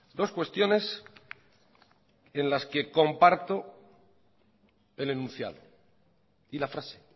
dos cuestiones en las que comparto el enunciado y la frase